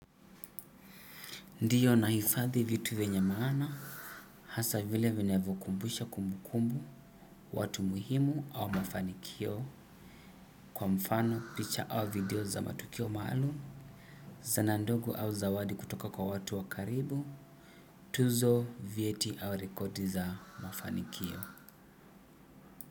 Ndiyo nahifadhi vitu vyenye maana, hasa vile vinavyokumbusha kumbukumbu, watu muhimu au mafanikio, kwa mfano, picha au video za matukio maalum, zana ndogo au zawadi kutoka kwa watu wa karibu, tuzo, vyeti au rekodi za mafanikio.